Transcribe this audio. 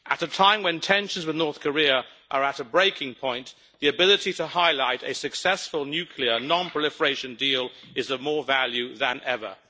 At a time when tensions with North Korea are at a breaking point, the ability to highlight a successful nuclear non proliferation deal is of more value than ever.